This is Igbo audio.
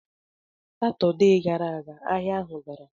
Satọde gara aga, ahịa ahụ dara.